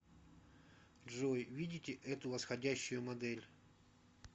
джой видите эту восходящую модель